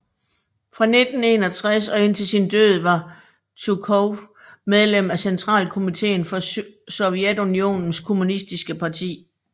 Fra 1961 og indtil sin død var Tjujkov medlem af Centralkomiteen for Sovjetunionens kommunistiske parti